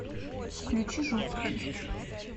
включи жуткий